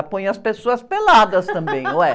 Ela põe as pessoas peladas também, ué.